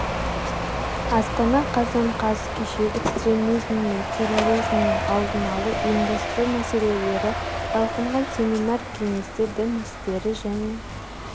астана қазан қаз кеше экстремизим мен терроризмнің алдын алуды ұйымдастыру мәселелері талқынған семинар-кеңесте дін істері және